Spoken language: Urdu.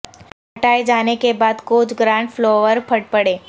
ہٹائے جانے کے بعد کوچ گرانٹ فلاور پھٹ پڑے